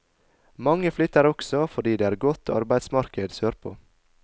Mange flytter også fordi det er godt arbeidsmarked sørpå.